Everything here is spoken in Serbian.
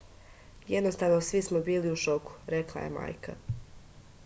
jednostavno svi smo bili u šoku rekla je majka